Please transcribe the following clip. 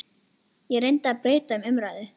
Ég reyndi að breyta um umræðuefni.